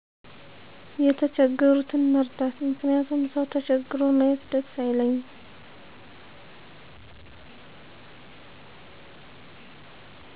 የተቸገሩትን መርዳት ምክንያቱም ሰው ተቸግሮ ማየት ደስ አይለኝም።